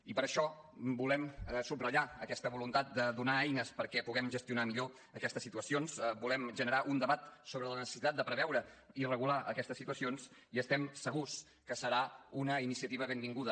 i per això volem subratllar aquesta voluntat de donar eines perquè puguem gestionar millor aquestes situacions volem generar un debat sobre la necessitat de preveure i regular aquestes situacions i estem segurs que serà una iniciativa benvinguda